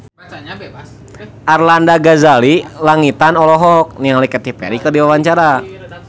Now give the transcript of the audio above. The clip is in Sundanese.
Arlanda Ghazali Langitan olohok ningali Katy Perry keur diwawancara